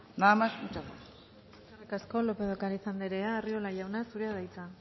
nada más muchas gracias eskerrik asko lópez de ocariz andrea arriola jauna zurea da hitza